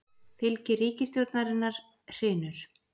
Fylgi ríkisstjórnarinnar hrynur